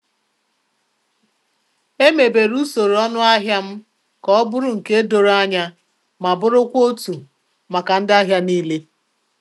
Emebere usoro ọnụahịa m ka ọ bụrụ nke doro anya ma burukwa otu maka ndị ahịa niile.